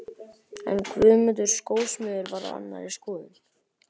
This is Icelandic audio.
En Guðmundur skósmiður var á annarri skoðun.